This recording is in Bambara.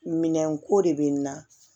Minɛnko de bɛ n na